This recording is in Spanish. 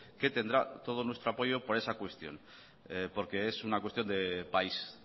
que tendrá todo nuestro apoyo para ese cuestión porque es una cuestión de país